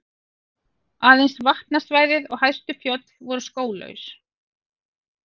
Aðeins vatnasvæði og hæstu fjöll voru skóglaus.